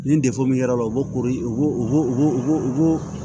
Ni min y'a la u ko ko u